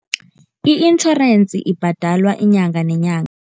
I-insurance ibhadelwa inyanga nenyanga.